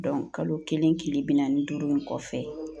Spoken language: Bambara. kalo kelen tile bi naani ni duuru in kɔfɛ